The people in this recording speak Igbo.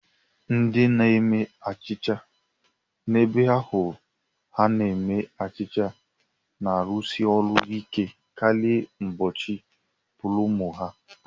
Ndị na-eme achịcha n'ebe ahu a na-eme achịcha na-arụsi ọrụ ike karịa n'ụbọchị púrómò ha